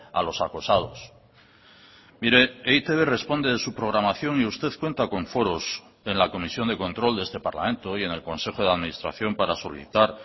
a los acosados mire e i te be responde de su programación y usted cuenta con foros en la comisión de control de este parlamento y en el consejo de administración para solicitar